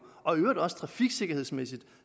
og det gælder også trafiksikkerhedsmæssigt